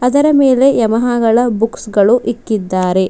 ಅದರ ಮೇಲೆ ಯಮಹಗಳ ಬುಕ್ಸ್ ಗಳು ಇಕ್ಕಿದ್ದಾರೆ.